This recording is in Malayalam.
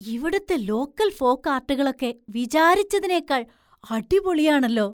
ഇവിടുത്തെ ലോക്കൽ ഫോക്ആര്‍ട്ടുകളൊക്കെ വിചാരിച്ചതിനേക്കാൾ അടിപൊളിയാണല്ലോ!